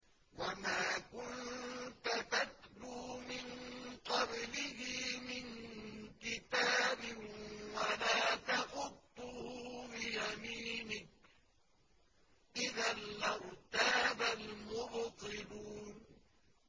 وَمَا كُنتَ تَتْلُو مِن قَبْلِهِ مِن كِتَابٍ وَلَا تَخُطُّهُ بِيَمِينِكَ ۖ إِذًا لَّارْتَابَ الْمُبْطِلُونَ